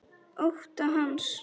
Ótta hans.